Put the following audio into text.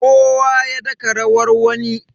kowa ya daka rawar wani